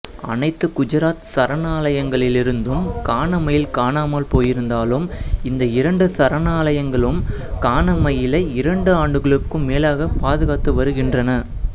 அனைத்து குஜராத் சரணாலயங்களிலிருந்தும் கானமயில் காணாமல் போயிருந்தாலும் இந்த இரண்டு சரணாலயங்களும் கானமயிலை இரண்டு ஆண்டுகளுக்கும் மேலாகப் பாதுகாத்து வருகின்றன